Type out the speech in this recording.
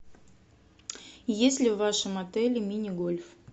есть ли в вашем отеле мини гольф